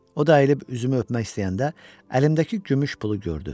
O da əyilib üzümü öpmək istəyəndə əlimdəki gümüş pulu gördü.